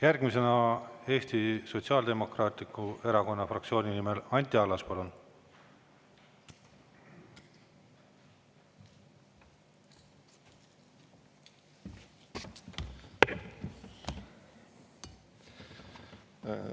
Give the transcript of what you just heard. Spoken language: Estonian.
Järgmisena Eesti Sotsiaaldemokraatliku Erakonna fraktsiooni nimel Anti Allas, palun!